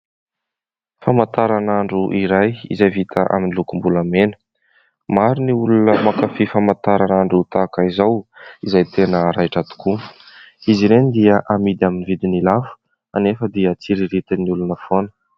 Famataranandro iray izay vita amin'ny lokom-bolamena. Maro ny olona mankafy famataranandro tahaka izao izay tena raitra tokoa. Izy ireny dia amidy amin'ny vidiny lafo anefa dia tsiriritin'ny olona foana.